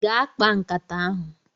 gaa kpaa nkata ahu